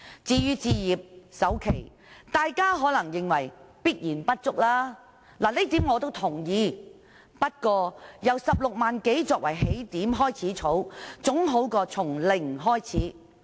至於置業首期，大家可能認為這筆錢一定不足夠，這點我也同意，不過，由16多萬元作為起點開始儲蓄，總比從零開始好。